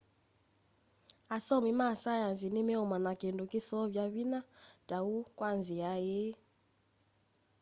asomi ma saienzi ni meumanya kindu kiseovya vinya ta uu kwa nzia ii